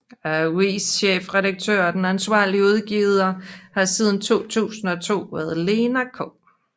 Avisens chefredaktør og ansvarlige udgiver har siden 2002 været Lena K